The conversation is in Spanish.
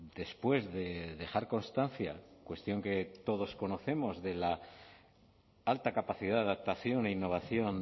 después de dejar constancia cuestión que todos conocemos de la alta capacidad de adaptación e innovación